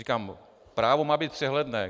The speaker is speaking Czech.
Říkám, právo má být přehledné.